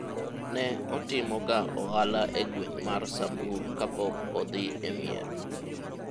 ne otimo ga ohala e gweng' mar samburu kapok odhi e mier